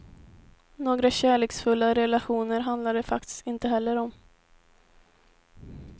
Några kärleksfulla relationer handlar de faktiskt inte heller om.